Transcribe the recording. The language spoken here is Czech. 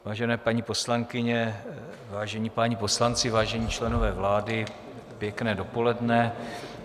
Vážené paní poslankyně, vážení páni poslanci, vážení členové vlády, pěkné dopoledne.